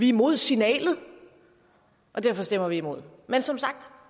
imod signalet og derfor stemmer vi imod men som sagt